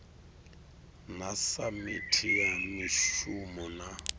na samithi ya mishumo na